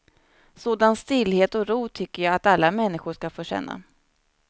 Sådan stillhet och ro tycker jag att alla människor ska få känna.